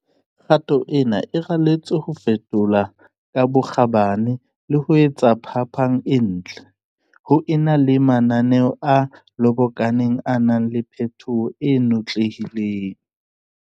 Kgato ena e raletswe ho fetola ka bokgabane le ho etsa phapang e ntle, ho e na le mananeo a lobokaneng a nang le phetoho e notlehileng.